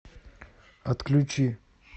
отключи